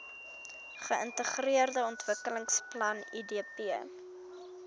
geintegreerde ontwikkelingsplan idp